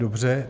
Dobře.